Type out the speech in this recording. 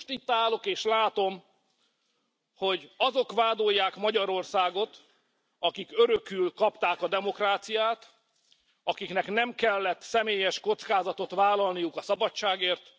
Most itt állok, és látom, hogy azok vádolják Magyarországot, akik örökül kapták a demokráciát, akiknek nem kellett személyes kockázatot vállalniuk a szabadságért.